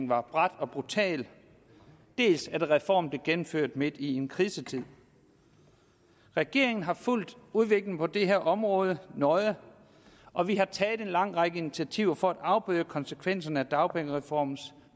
var brat og brutal dels at reformen blev gennemført midt i en krisetid regeringen har fulgt udviklingen på det her område nøje og vi har taget en lang række initiativer for at afbøde konsekvenserne af dagpengereformens